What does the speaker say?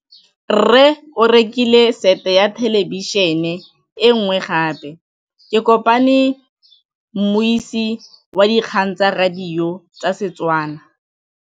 Rre o rekile sete ya thêlêbišênê e nngwe gape. Ke kopane mmuisi w dikgang tsa radio tsa Setswana.